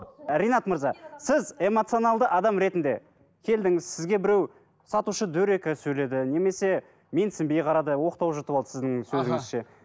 ринат мырза сіз эмоционалды адам ретінде келдіңіз сізге біреу сатушы дөрекі сөйледі немесе менсінбей қарады оқтау жұтып алды сіздің сөзіңізше